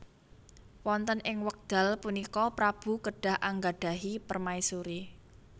Wonten ing wekdal punika prabu kedah anggadhahi permaisuri